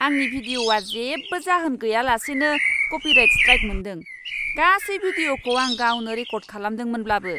आंनि भिडिअ'आ जेबो जाहोन गैयालासेनो कपिराइट स्ट्राइक मोन्दों। गासै भिडिअ'खौ आं गावनो रेकर्द खालामदोंमोनब्लाबो।